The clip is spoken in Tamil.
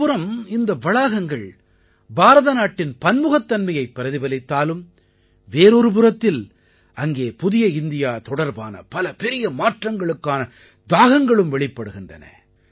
ஒருபுறம் இந்த வளாகங்கள் பாரத நாட்டின் பன்முகத்தன்மையைப் பிரதிபலித்தாலும் வேறொரு புறத்தில் அங்கே புதிய இந்தியா தொடர்பான பல பெரிய மாற்றங்களுக்கான தாகங்களும் வெளிப்படுகின்றன